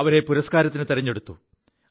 അവരെ പുരസ്കാരത്തിനു തിരഞ്ഞെടുത്തു